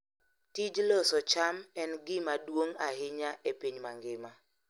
Tij loso cham en gima duong' ahinya e piny mangima.